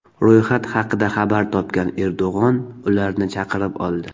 Ro‘yxat haqida xabar topgan Erdo‘g‘on ularni chaqirib oldi.